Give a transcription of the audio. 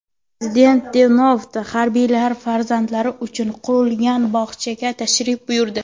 Prezident Denovda harbiylar farzandlari uchun qurilgan bog‘chaga tashrif buyurdi .